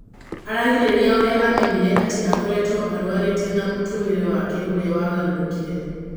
Aragĩrĩria ũrĩa amenyire atĩ akoretwo arwarĩte na mũtũrĩre wake ũrĩa wagarũrũkire.